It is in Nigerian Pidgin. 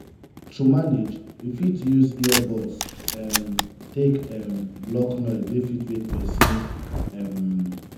to manage we fit use ear buds um take um block noise wey fit wake person um